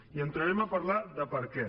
i entrarem a parlar del perquè